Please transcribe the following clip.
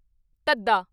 ਧੱਧਾ